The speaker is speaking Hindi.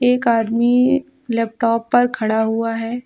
एक आदमी लैपटॉप पर खड़ा हुआ हैं।